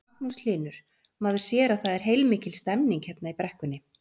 Magnús Hlynur: Maður sér að það er heilmikil stemning hér í brekkunni?